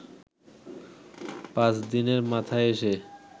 পাঁচ দিনের মাথায় এসে